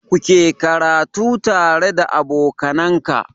Kuke karatu tare da aboka Nan ka